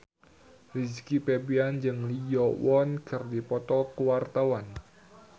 Rizky Febian jeung Lee Yo Won keur dipoto ku wartawan